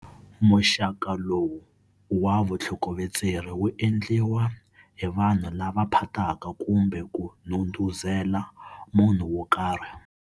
Muxaka lowu wa vutlhokovetseri wu endliwa hi vanhu lava phataka kumbe ku ndhundhuzela munhu wo karhi.